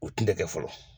U tun tɛ kɛ fɔlɔ